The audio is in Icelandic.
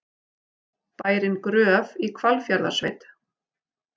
Bærinn Gröf í Hvalfjarðarsveit.